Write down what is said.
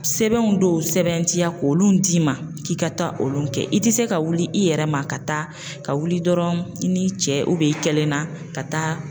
Sɛbɛn dɔw sɛbɛn tiya k'olu d'i ma k'i ka taa olu kɛ i tɛ se ka wuli i yɛrɛ ma ka taa ka wuli dɔrɔn i ni cɛ i kelen na ka taa.